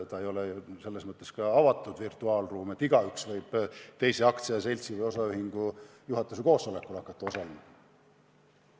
See ei ole ju selles mõttes avatud virtuaalruum, et igaüks võib mõne aktsiaseltsi või osaühingu juhatuse koosolekul hakata osalema.